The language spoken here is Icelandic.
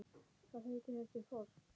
Hvað heitir þessi foss?